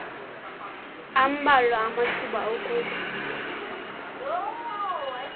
ambalwa amathuba okuba